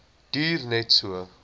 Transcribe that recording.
duur net so